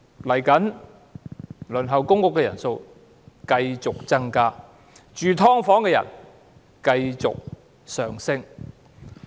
未來輪候公屋的人數繼續增加，居於"劏房"的人數繼續上升。